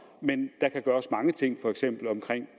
men der kan gøres mange ting i for eksempel